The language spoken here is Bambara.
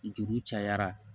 Juru cayara